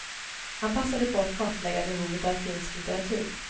Han passade på att kartlägga behovet av finsk litteratur.